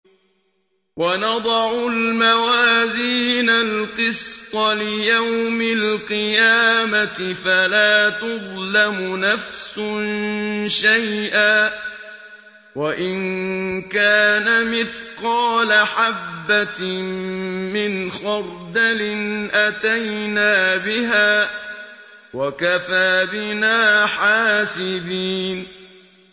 وَنَضَعُ الْمَوَازِينَ الْقِسْطَ لِيَوْمِ الْقِيَامَةِ فَلَا تُظْلَمُ نَفْسٌ شَيْئًا ۖ وَإِن كَانَ مِثْقَالَ حَبَّةٍ مِّنْ خَرْدَلٍ أَتَيْنَا بِهَا ۗ وَكَفَىٰ بِنَا حَاسِبِينَ